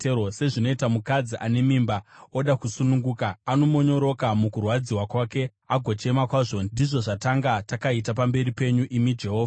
Sezvinoita mukadzi ane mimba oda kusununguka, anomonyoroka mukurwadziwa kwake, agochema kwazvo, ndizvo zvatakanga takaita pamberi penyu, imi Jehovha.